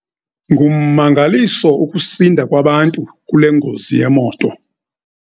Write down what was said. Ngummangaliso ukusinda kwabantu kule ngozi yemoto.